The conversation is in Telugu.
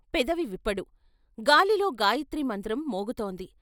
పెదవి విప్పడు గాలిలో గాయత్రి మంత్రం మోగుతోంది.